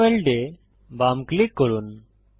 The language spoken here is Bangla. এনেবল্ড এ বাম ক্লিক করুন